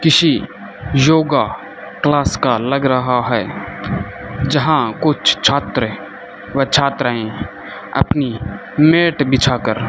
किसी yoga class का लग रहा है जहां कुछ छात्र व छात्राएं अपनी मैट बिछा कर --